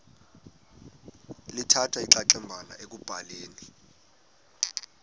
lithatha inxaxheba ekubhaleni